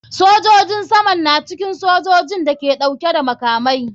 Sojojin saman na cikin sojojin da ke dauke da makamai.